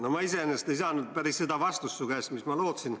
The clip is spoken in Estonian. No ma iseenesest ei saanud su käest päris seda vastust, mida ma lootsin.